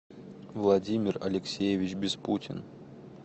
владимир алексеевич беспутин